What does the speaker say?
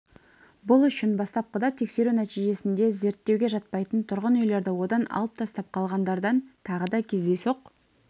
бұл үшін бастапқыда тексеру нәтижесінде зерттеуге жатпайтын тұрғын үйлерді одан алып тастап қалғандардан тағы да кездейсоқ